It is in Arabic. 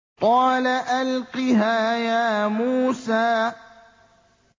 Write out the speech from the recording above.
قَالَ أَلْقِهَا يَا مُوسَىٰ